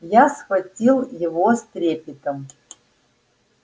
я схватил его с трепетом